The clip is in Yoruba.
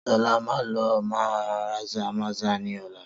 Sola máa lọ sí Mazamaza ní ọ̀la